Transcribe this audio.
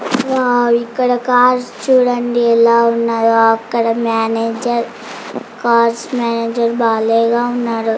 Wow ఇక్కడ cars చుడండి ఎలా ఉన్నాయో. అక్కడ మేనేజర్ ఉన్నారు.